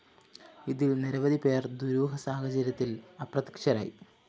ഇതില്‍ നിരവധിപേര്‍ ദുരൂഹ സാഹചര്യത്തില്‍ അപ്രത്യക്ഷരായി